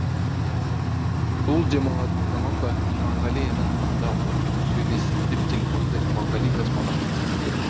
бұл демалатын заман ба иманғали інің мұнда отыр сөйлес деп телефонды иманғали тасмағамбетовке берді